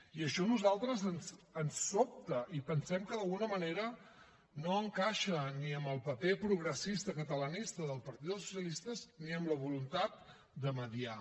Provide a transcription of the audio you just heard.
i això a nosaltres ens sobta i pensem que d’alguna manera no encaixa ni amb el paper progressista catalanista del partit dels socialistes ni amb la voluntat de mediar